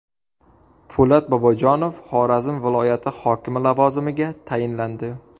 Po‘lat Bobojonov Xorazm viloyati hokimi lavozimiga tayinlandi.